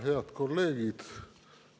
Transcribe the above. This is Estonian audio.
Head kolleegid!